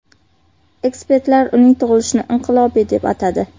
Ekspertlar uning tug‘ilishini inqilobiy deb atadi.